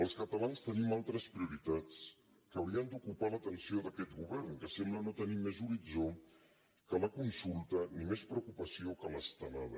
els catalans tenim altres prioritats que haurien d’ocupar l’atenció d’aquest govern que sembla no tenir més horitzó que la consulta ni més preocupació que l’estelada